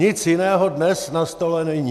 Nic jiného dnes na stole není.